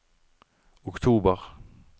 oktober